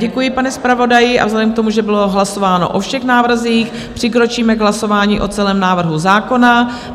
Děkuji, pane zpravodaji, a vzhledem k tomu, že bylo hlasováno o všech návrzích, přikročíme k hlasování o celém návrhu zákona.